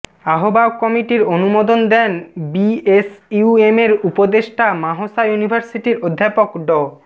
আহ্বায়ক কমিটির অনুমোদন দেন বিএসইউএমের উপদেষ্টা মাহশা ইউনিভার্সিটির অধ্যাপক ড